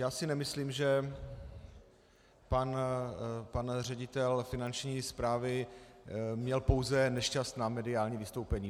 Já si nemyslím, že pan ředitel Finanční správy měl pouze nešťastná mediální vystoupení.